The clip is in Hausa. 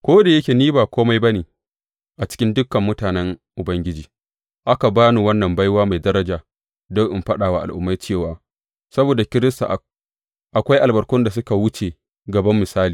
Ko da yake ni ba kome ba ne a cikin dukan mutanen Ubangiji, aka ba ni wannan baiwa mai daraja don in faɗa wa Al’ummai cewa saboda Kiristi akwai albarkun da suka wuce gaban misali.